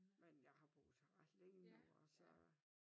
Men jeg har boet her ret længe nu altså